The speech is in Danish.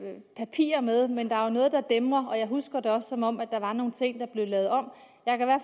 papirer med men der er noget der dæmrer og jeg husker det også som om der var nogle ting der blev lavet om